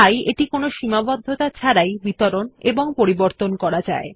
তাই এটি কোনো সীমাবদ্ধতা ছাড়াই বিতরণ এবং পরিবর্তন করা যায়